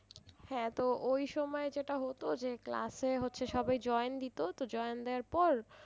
হ্যাঁ তো ওই সময়ে যেটা হতো যে class এ হচ্ছে সবাই join দিত তো join দেওয়ার পর,